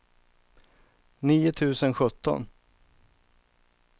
nio tusen sjutton